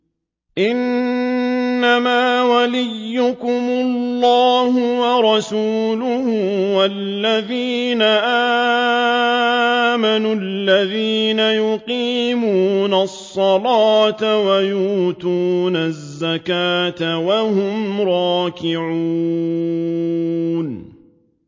إِنَّمَا وَلِيُّكُمُ اللَّهُ وَرَسُولُهُ وَالَّذِينَ آمَنُوا الَّذِينَ يُقِيمُونَ الصَّلَاةَ وَيُؤْتُونَ الزَّكَاةَ وَهُمْ رَاكِعُونَ